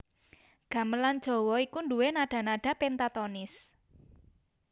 Gamelan Jawa iku nduwé nada nada péntatonis